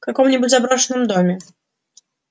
в каком-нибудь заброшенном доме